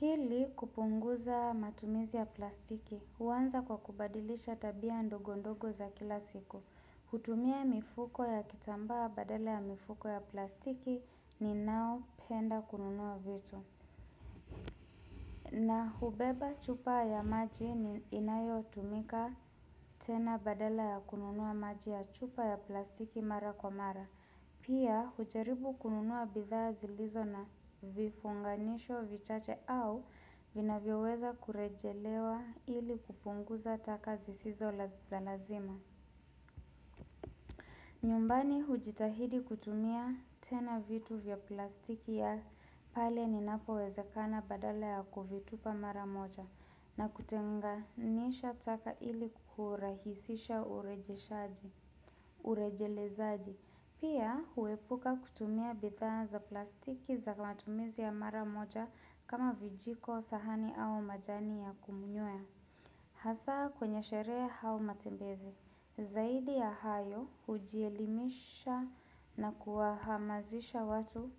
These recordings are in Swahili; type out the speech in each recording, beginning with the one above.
Hili kupunguza matumizi ya plastiki, huanza kwa kubadilisha tabia ndogo ndogo za kila siku. Hutumia mifuko ya kitambaa badala ya mifuko ya plastiki ni nao penda kununua vitu. Na hubeba chupa ya maji ni inayo tumika tena badala ya kununua maji ya chupa ya plastiki mara kwa mara. Pia hujaribu kununua bidhaa zilizo na vifunganisho vichache au vina vyoweza kurejelewa ili kupunguza taka zisizo la za lazima. Nyumbani hujitahidi kutumia tena vitu vya plastiki ya pale ni napo wezekana badala ya kuvitupa maramoja na kutenga nisha taka ili kurahisisha urejeshaji urejelezaji. Pia huepuka kutumia bidhaa za plastiki za matumizi ya mara moja kama vijiko sahani au majani ya kumnywea. Hasa kwenye sheree au matembezi. Zaidi ya hayo hujielimisha na kuwahamazisha watu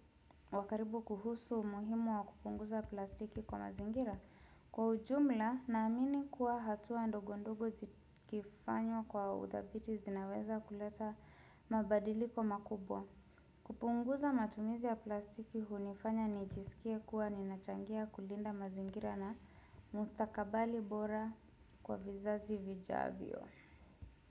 wakaribu kuhusu muhimu wa kupunguza plastiki kwa mazingira. Kwa ujumla na amini kuwa hatua ndogo ndogo zikifanyw kwa udhabiti zinaweza kuleta mabadiliko makubwa. Kupunguza matumizi ya plastiki hunifanya nijisikie kuwa ninachangia kulinda mazingira na mustakabali bora kwa vizazi vijavyo.